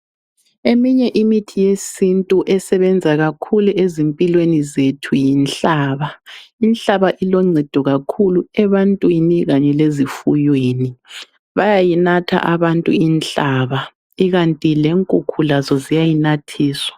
Eminye imithi yesintu esebenza kakhulu ezimpilweni zethu yinhlaba. Inhlaba iloncedu kakhulu ebantwini kanye lezifuyweni. Bayayinatha abantu inhlaba kukanti lenkukhu lazo ziyayinathiswa.